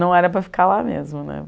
Não era para ficar lá mesmo, né?